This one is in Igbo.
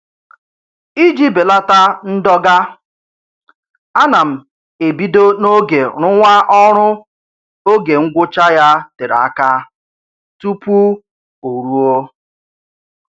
Iji belata ndọga, ana m ebido n'oge rụwa ọrụ oge ngwụcha ya tere aka tupu o ruo